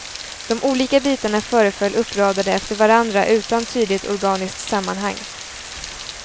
De olika bitarna föreföll uppradade efter varandra utan tydligt organiskt sammanhang.